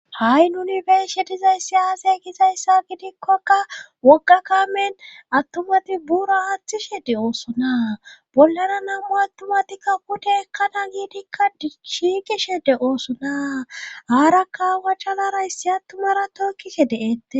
ha7i nuni bershe dizayssi aazay gizayssa gidikkokka wogakamen attumati buura haathi shedde oosona bollana nammu attumatikka kute ekkana giidikka shiigi shede oosona aara kaawa calarayssi attumara tookise de7ette